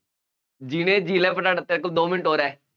ਜੀ ਲੈ ਜੀ ਲੈ ਆਪਣਾ ਤੇਰੇ ਕੋਲ ਦੋ ਮਿੰਟ ਹੋਰ ਹੈ।